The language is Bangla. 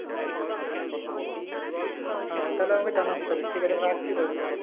হ্যাঁ তাহলে আমাকে জানাস তাহলে ঠিক আছে আমি রাখছি তাহলে